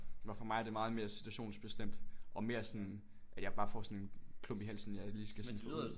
Hvor for mig er det meget mere situationsbestemt og mere sådan at jeg bare får sådan en klump i halsen jeg lige skal sluge